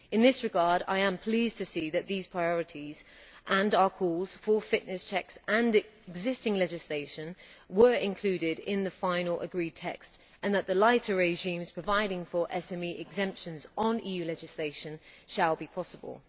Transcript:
In this regard, I am pleased to see that these priorities, our calls for fitness checks and existing legislation were included in the final agreed text and that the lighter regimes providing for SME exemptions on EU legislation shall be possible.